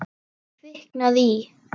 Kviknað í.